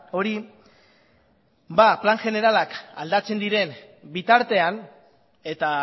hori plan generalak aldatzen diren bitartean eta